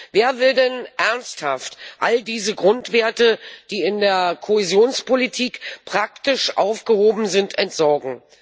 Wer will denn ernsthaft all diese Grundwerte, die in der Kohäsionspolitik praktisch aufgehoben sind, entsorgen?